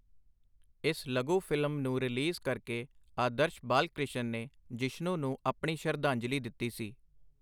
ਇਸ ਲਘੂ ਫ਼ਿਲਮ ਨੂੰ ਰਿਲੀਜ਼ ਕਰਕੇ ਆਦਰਸ਼ ਬਾਲ-ਕ੍ਰਿਸ਼ਨ ਨੇ ਜਿਸ਼ਨੂ ਨੂੰ ਆਪਣੀ ਸ਼ਰਧਾਂਜਲੀ ਦਿੱਤੀ ਸੀ।